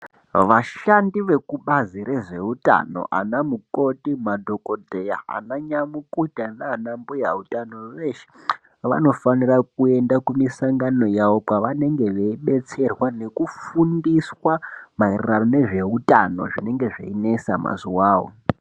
Vashandi vekubazi rezveutano anamukoti, madhokoteya, ananyamukuta nana mbuya utano veshe vanofanire kuende kumisangano yavo kwavanenge veidetserwa nekufundiswa maererano nezveutano zvinenge zvichinetsa mazuvawo.